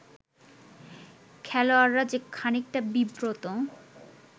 খেলোয়াড়রা যে খানিকটা বিব্রত